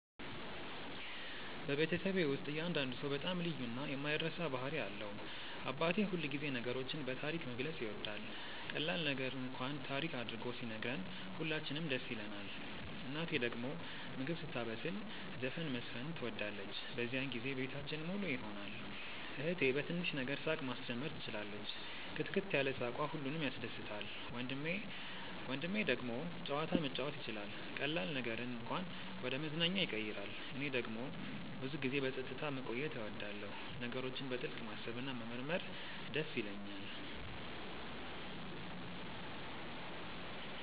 በቤተሰቤ ውስጥ እያንዳንዱ ሰው በጣም ልዩ እና የማይረሳ ባህሪ አለው። አባቴ ሁልጊዜ ነገሮችን በታሪክ መግለጽ ይወዳል፤ ቀላል ነገር እንኳን ታሪክ አድርጎ ሲነግረን ሁላችንም ደስ ይለንናል። እናቴ ደግሞ ምግብ ስታበስል ዘፈን መዝፈን ትወዳለች፤ በዚያን ጊዜ ቤታችን ሙሉ ይሆናል። እህቴ በትንሽ ነገር ሳቅ ማስጀመር ትችላለች፣ ክትክት ያለ ሳቅዋ ሁሉንም ያስደስታል። ወንድሜ ደግሞ ጨዋታ መጫወት ይችላል፤ ቀላል ነገርን እንኳን ወደ መዝናኛ ያቀይራል። እኔ ደግሞ ብዙ ጊዜ በጸጥታ መቆየት እወዳለሁ፣ ነገሮችን በጥልቅ ማሰብ እና መመርመር ይደስ ይለኛል።